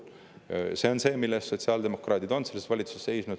See on see, mille eest sotsiaaldemokraadid on selles valitsuses seisnud.